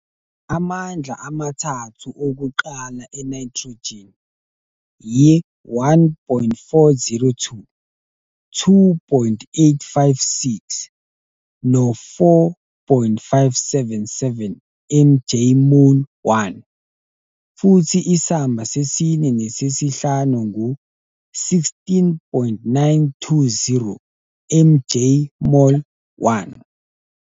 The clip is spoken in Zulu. Amandla amathathu okuqala e-nitrogen yi-1.402, 2.856, no-4.577 MJ - mol - 1, futhi isamba sesine nesesihlanu ngu-16.920 MJ - mol - 1.